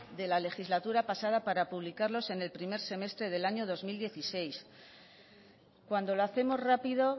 de la legislatura pasada para publicarlos en el primer semestre del año dos mil dieciséis cuando lo hacemos rápido